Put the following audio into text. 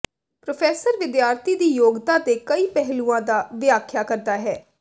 professor ਵਿਦਿਆਰਥੀ ਦੀ ਯੋਗਤਾ ਦੇ ਕਈ ਪਹਿਲੂਆਂ ਦਾ ਵਿਆਖਿਆ ਕਰਦਾ ਹੈ